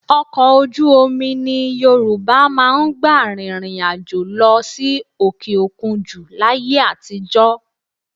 Ọkọ̀ ojú omi ni Yorùbá máa ń gbà rìnrìn àjò lọ sí òkè òkun jù láyé àtijọ́